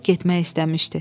Durub getmək istəmişdi.